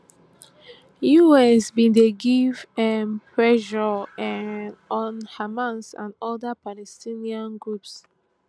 us bin dey give um pressure um on hamas and oda palestinian groups